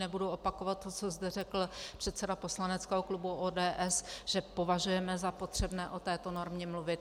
Nebudu opakovat to, co zde řekl předseda poslaneckého klubu ODS, že považujeme za potřebné o této normě mluvit.